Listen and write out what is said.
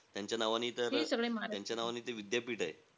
त्यांच्या नावानी तर, त्यांच्या नावानी ते विद्यापीठ आहे.